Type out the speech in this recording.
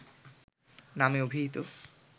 নামে অভিহিত